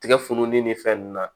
Tigɛ fununen ni fɛn nunnu na